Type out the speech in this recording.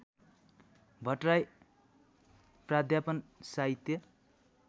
भट्टराई प्राध्यापन साहित्य